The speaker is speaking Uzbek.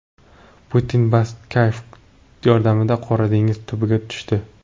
Putin batiskaf yordamida Qora dengiz tubiga tushdi.